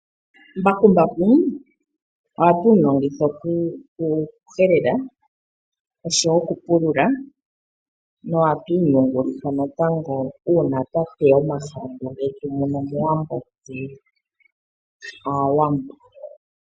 Mbakumbaku ohatu mu longitha okuhelela oshowo okupulula, nohatu mu yungulitha natango uuna twa teya omahangu getu muno mowambo nenge mofaalama.